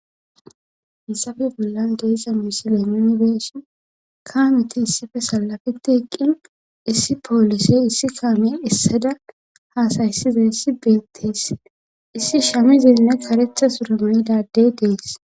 hissafe bollan deessa misile minbeessin kaameti issife salafeti eqqin issi poolise issi kaame issada haasaysiza issi beettes issi shamizenne karetha surama7idadey dees